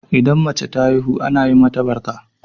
Idan mace ta haihu ana yi mata barka?